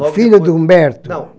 O filho do Humberto? Não